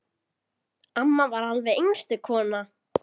Amma var alveg einstök kona.